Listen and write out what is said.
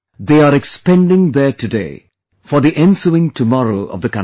They are expending their today for the ensuing tomorrow of the country